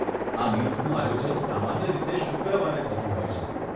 આ મીટ્સનું આયોજન સામાન્ય રીતે શુક્રવારે થતું હોય છે.